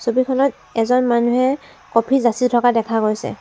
ছবিখনত এজন মানুহে কফি যাচি থকা দেখা গৈছে।